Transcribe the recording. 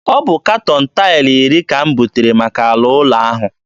Ọ bụ katọn taịlụ iri ka m butere maka ala ụlọ ahụ.